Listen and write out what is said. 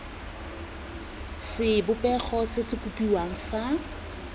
sebopego se se kopiwang sa